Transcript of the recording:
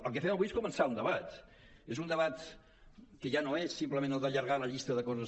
el que fem avui és començar un debat és un debat que ja no és simplement el d’allargar la llista de coses